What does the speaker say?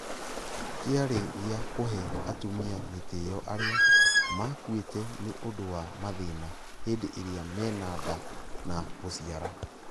Kĩarĩ gĩa kũhe atumia gĩtĩo arĩa maakuite nĩ ũndũ wa mathĩna hĩndĩ ĩrĩa mena nda na gũciara.